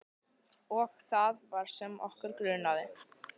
Og það var sem okkur grunaði.